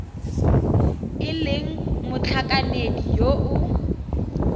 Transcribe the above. e leng motlhankedi yo o